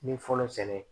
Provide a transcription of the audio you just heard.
N ye fɔlɔ sɛnɛ